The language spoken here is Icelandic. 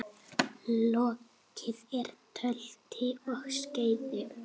Lokið er tölti og skeiði.